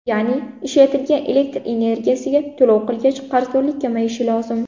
Ya’ni ishlatgan elektr energiyasiga to‘lov qilgach qarzdorlik kamayishi lozim.